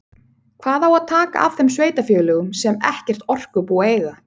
Hvað á að taka af þeim sveitarfélögum sem ekkert orkubú eiga?